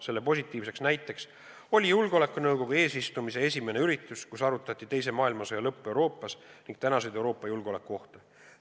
Selle positiivne näide oli julgeolekunõukogu eesistumise esimene üritus, kus arutati teise maailmasõja lõppu Euroopas ning tänaseid Euroopa julgeolekuohte.